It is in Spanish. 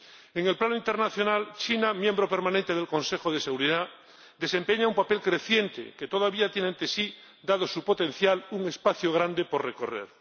En el plano internacional, China, miembro permanente del Consejo de Seguridad, desempeña un papel creciente, que todavía tiene ante sí, dado su potencial, un espacio grande por recorrer.